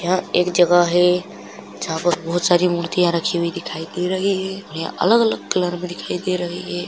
यहाँ एक जगह है जहाँ पर बहुत सारी मूर्तियां रखी हुई दिखाई दे रही है यहाँ अलग-अलग कलर में दिखाई दे रही हैं।